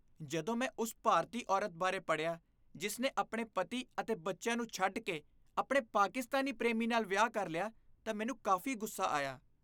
ਜਦੋਂ ਮੈਂ ਉਸ ਭਾਰਤੀ ਔਰਤ ਬਾਰੇ ਪੜ੍ਹਿਆ, ਜਿਸ ਨੇ ਆਪਣੇ ਪਤੀ ਅਤੇ ਬੱਚਿਆਂ ਨੂੰ ਛੱਡ ਕੇ ਆਪਣੇ ਪਾਕਿਸਤਾਨੀ ਪ੍ਰੇਮੀ ਨਾਲ ਵਿਆਹ ਕਰ ਲਿਆ ਤਾਂ ਮੈਨੂੰ ਕਾਫ਼ੀ ਗੁੱਸਾ ਆਇਆ।